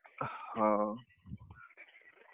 ହଉ,